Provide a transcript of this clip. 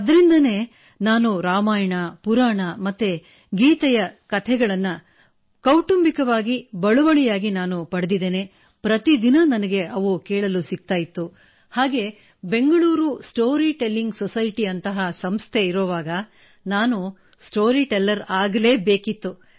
ಆದ್ದರಿಂದ ರಾಮಾಯಣ ಪುರಾಣ ಮತ್ತು ಗೀತೆಯ ಕತೆಗಳು ನನಗೆ ಅನುವಂಶಿಕವಾಗಿ ಪ್ರತಿ ದಿನ ಕೇಳಲು ಸಿಗುತ್ತಿತ್ತು ಮತ್ತು ಬ್ಯಾಂಗಲೂರ್ ಸ್ಟೋರಿಟೆಲಿಂಗ್ ಸೊಸೈಟಿ ನಂತಹ ಸಂಸ್ಥೆಯಿರುವಾಗ ನಾನು ಸ್ಟೋರಿಟೆಲ್ಲರ್ ಆಗಲೇ ಬೇಕಿತ್ತು